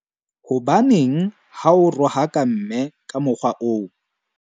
Hobaneng ha o rohaka mme ka mokgwa oo?